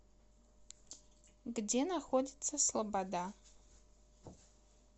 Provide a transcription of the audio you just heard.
где находится слобода